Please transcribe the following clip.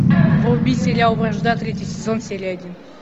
вруби сериал вражда третий сезон серия один